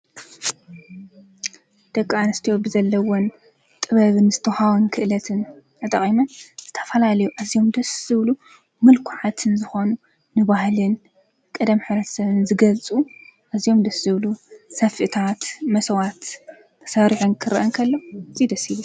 ደቂ ኣንስቴዎ ብዘለውን ጥበብን ዝተሃወን ክእለትን ኣጠቒመን ዝተፋላ ልዩ እዚዮም ደስዝብሉ ምልኰዓትን ዝኾኑ ንባህልን ቐደም ሕብረተሰብ ዝገልፁ እዝዮም ድዝብሉ ሰፍእታት መሰዋት ተሠሪኁን ክርአንከሎ ዙይደሲሉ